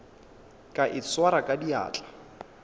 ka e swara ka diatla